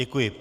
Děkuji.